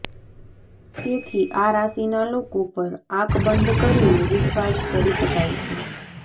તેથી આ રાશિના લોકો પર આંખ બંધ કરીને વિશ્વાસ કરી શકાય છે